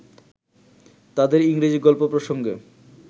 তাঁদের ইংরেজী গল্প প্রসঙ্গে